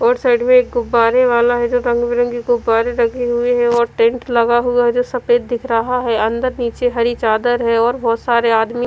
और साइड में एक गुब्बारे वाला है जो रंग बिरंगे गुब्बारे लगे हुए हैं और टेंट लगा हुआ है जो सफेद दिख रहा है अंदर नीचे हरि चादर है और बहोत सारे आदमी--